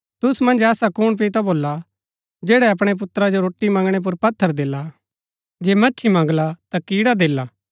तुसु मन्ज ऐसा कुण पिता भोल्ला जैडा अपणै पुत्रा जो रोटी मंगणै पुर पत्थर देला जे मच्छी मंगला ता कीड़ा देला